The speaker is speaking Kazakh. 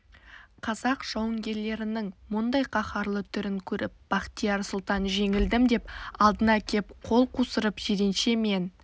қазақ жауынгерлерінің мұндай қаһарлы түрін көріп бахтияр сұлтан жеңілдім деп алдына кеп қол қусырып жиренше мен